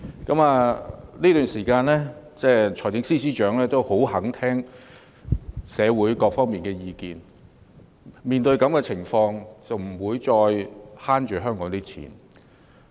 在這段時間裏，財政司司長亦十分願意聆聽社會各界的意見，面對現時的情況，他不再節省香港的公帑。